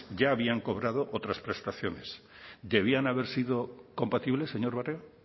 ya habían cobrado otras prestaciones debían haber sido compatibles señor barrio